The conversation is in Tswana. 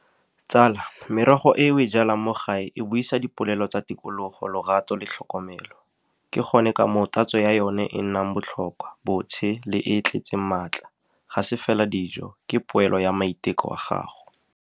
Tsala, merogo e o e jalang mo gae e buisa dipolelo tsa tikologo, lorato le tlhokomelo. Ke gone ka mo o tatso ya yone e nnang botlhokwa, botshe le e e tletseng maatla. Ga se fela dijo, ke poelo ya maiteko a gago.